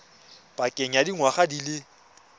pakeng ya dingwaga di le